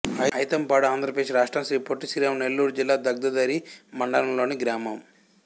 ఐతంపాడు ఆంధ్ర ప్రదేశ్ రాష్ట్రం శ్రీ పొట్టి శ్రీరాములు నెల్లూరు జిల్లా దగదర్తి మండలం లోని గ్రామం